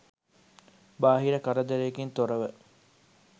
බාහිර කරදරයකින් තොරව